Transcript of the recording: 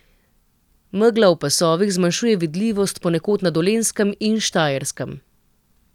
Megla v pasovih zmanjšuje vidljivost ponekod na Dolenjskem in Štajerskem.